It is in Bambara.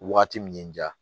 Wagati min n diya